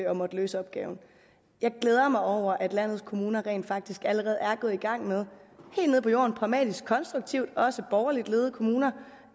og måtte løse opgaven jeg glæder mig over at landets kommuner rent faktisk allerede er gået i gang med helt nede på jorden pragmatisk og konstruktivt også borgerligt ledede kommuner